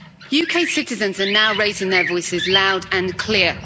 UK citizens are now raising their voices loud and clear.